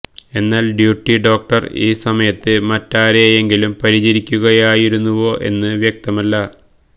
എന്നാൽ duty doctor ഈ സമയത്ത് മറ്റാരെയെങ്കിലും പരിചരിക്കുകയായിരുന്നുവോ എന്ന് വ്യക്തമല്ല